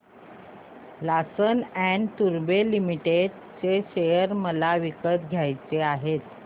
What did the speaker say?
Larsen and टुर्बो limited share मला विकत घ्यायचे आहेत